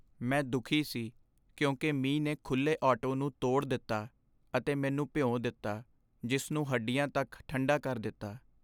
ਮੈਂ ਦੁੱਖੀ ਸੀ ਕਿਉਂਕਿ ਮੀਂਹ ਨੇ ਖੁੱਲ੍ਹੇ ਆਟੋ ਨੂੰ ਤੋੜ ਦਿੱਤਾ ਅਤੇ ਮੈਨੂੰ ਭਿਉਂ ਦਿੱਤਾ ਜਿਸ ਨੂੰ ਹੱਡੀਆਂ ਤੱਕ ਠੰਡਾ ਕਰ ਦਿੱਤਾ।